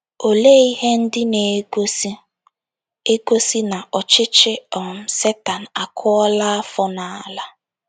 Olee ihe ndị na - egosị - egosị na ọchịchị um Setan akụọla afọ n’ala?